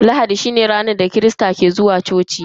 Lahadi shine ranar da mabiya addinin kirista ke zuwa coci bauta.